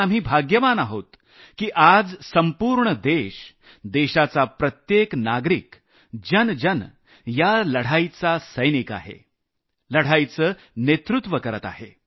आपण भाग्यवान आहोत की आज संपूर्ण देश देशाचा प्रत्येक नागरिक जन जन या लढाईचा सैनिक आहे लढाईचं नेतृत्व करत आहे